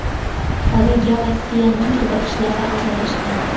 Oraga Rossiyaning qiziqishlari aralashgan.